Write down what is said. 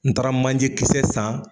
N taara manje kisɛ san